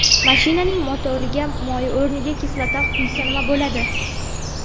Mashinaning motoriga moy o‘rniga kislota quysa nima bo‘ladi?